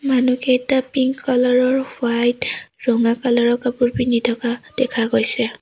মনুহকেইটা pink colour আৰু white ৰঙা colour ৰ কাপোৰ পিন্ধি থকা দেখা গৈছে।